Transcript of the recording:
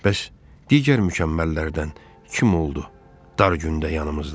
Bəs digər mükəmməllərdən kim oldu dar gündə yanımızda?